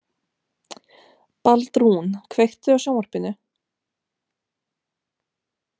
Baldrún, kveiktu á sjónvarpinu.